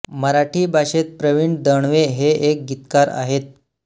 मराठी भाषेत प्रवीण दवणे हे एक गीतकार आहेत